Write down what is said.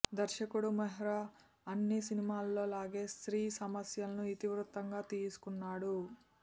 దర్శకుడు మెహ్రా అన్ని సినిమాల్లో లాగే స్త్రీ సమస్యలను ఇతివృత్తంగా తీసుకున్నాడు